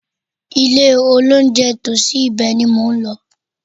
Ilé-olóunjẹ tòsí ibẹ̀ ni mò ń lọ.